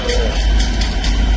Dayan, dayan, dayan.